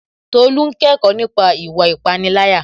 Tolú n kẹ́kọ̀ọ́ nípa ìwà ìpániláyà